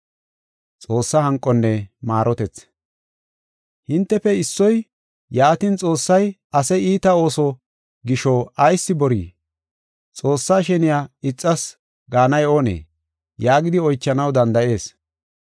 Hintefe issoy, “Yaatin, Xoossay ase iita ooso gisho ayis borii? Xoossaa sheniya ixas gaanay oonee?” yaagidi oychanaw danda7ees.